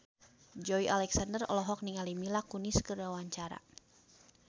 Joey Alexander olohok ningali Mila Kunis keur diwawancara